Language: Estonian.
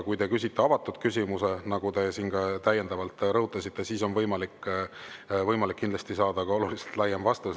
Kui te küsite avatud küsimuse, nagu te siin täiendavalt ka rõhutasite, siis on kindlasti võimalik saada ka oluliselt laiem vastus.